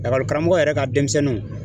karamɔgɔ yɛrɛ ka denmisɛnninw